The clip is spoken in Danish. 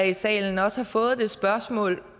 i salen også har fået det spørgsmål